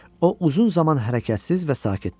O uzun zaman hərəkətsiz və sakit durdu.